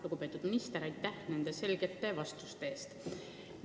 Lugupeetud minister, aitäh selgete vastuste eest!